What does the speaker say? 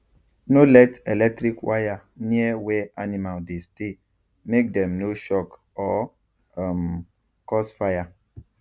no let electric wire near where animal dey stay make dem no shock or um cause fire